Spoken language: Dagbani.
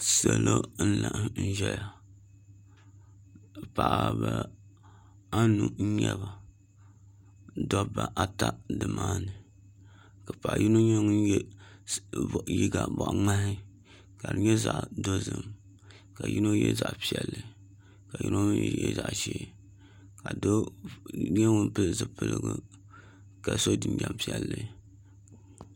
Salo n laɣam ʒɛya paɣaba anu n nyɛba dabba ata nimaani ka paɣa yino nyɛ ŋun yɛ liiga boɣa ŋmahi ka di nyɛ zaɣ dozim ka yino yɛ zaɣ piɛlli ka yino mii yɛ zaɣ ʒiɛ ka doo nyɛ ŋun pili zipiligu ka so jinjɛm piɛlli